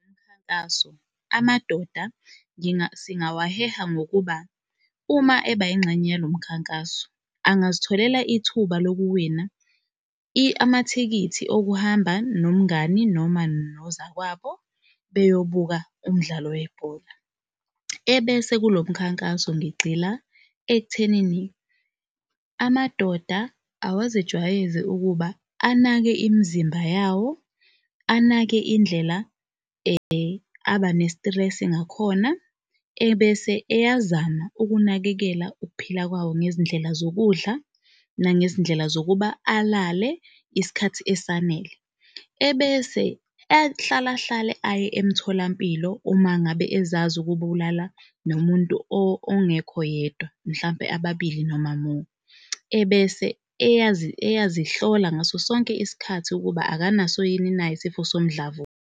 Umkhankaso, amadoda singawaheha ngokuba uma eba yingxenye yalo mkhankaso angazitholela ithuba lokuwina amathikithi okuhamba nomngani noma nozakwabo beyobuka umdlalo webhola. Ebese kulo mkhankaso ngigxila ekuthenini amadoda awazijwayeze ukuba anake imizimba yawo anake indlela aba ne-stress-i ngakhona, ebese eyazama ukunakekela ukuphila kwawo, ngezindlela zokudla nangezindlela zokuba alale isikhathi esanele. Ebese ehlala hlale aye emtholampilo uma ngabe ezazi ukuba ulala nomuntu ongekho yedwa, mhlampe ababili noma more. Ebese eyazihlola ngaso sonke isikhathi ukuba akanaso yini na isifo somdlavuza.